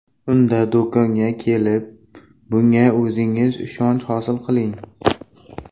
Unda do‘konga kelib, bunga o‘zingiz ishonch hosil qiling!